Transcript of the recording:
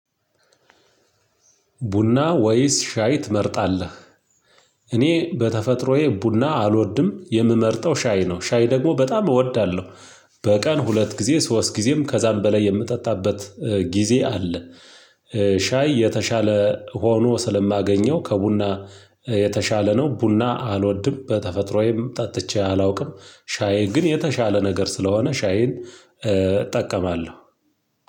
ቡና ወይስ ሻይ ትመርጣለህ? እኔ በተፈጥሮዬ ቡና አልወድም የምመርጠው ሻይ ነው ሻይ ደግሞ በጣም እወዳለሁ። በቀን ሁለት ጊዜ ሶስት ጊዜም ከዛም በላይ የምጠጣበት ጊዜ አለ። ሻይ የተሻለ ሆኖ ስለማገኘው ከቡና የተሻለ ነው። ቡና አልወድም በተፈጥሮዬም ጠጥቼ አላውቅም ሻይ ግን የተሻለ ነገር ስለሆነ ሻይን እጠቀማለሁ።